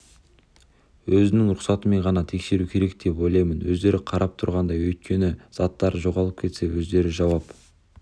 өзінің рұқсатымен ғана тексеру керек деп ойлаймын өздері қарап тұратындай өйткені заттары жоғалып кетсе өздері жауап